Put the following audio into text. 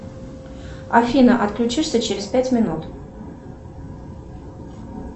афина отключишься через пять минут